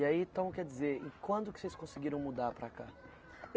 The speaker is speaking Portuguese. E aí, então, quer dizer, e quando que vocês conseguiram mudar para cá?